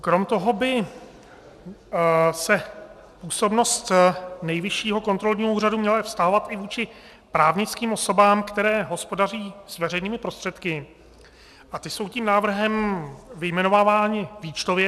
Kromě toho by se působnost Nejvyššího kontrolního úřadu měla vztahovat i vůči právnickým osobám, které hospodaří s veřejnými prostředky, a ty jsou tím návrhem vyjmenovávány výčtově.